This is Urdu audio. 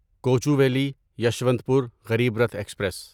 کوچوویلی یسوانتپور غریب رتھ ایکسپریس